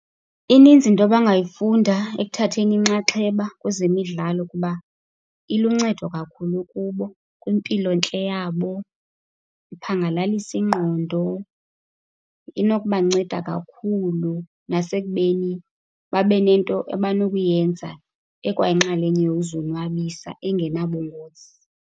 Ininzi into abangayifunda ekuthatheni inxaxheba kwezemidlalo kuba iluncedo kakhulu kubo, kwimpilontle yabo, iphangalalisa ingqondo. Inokubanceda kakhulu nasekubeni babe nento abanokuyenza ekwayinxelenye yokuzonwabisa engenabungozi.